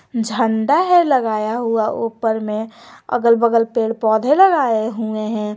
झंडा है लगाया हुआ ऊपर में अगल बगल पेड़ पौधे लगाए हुए हैं।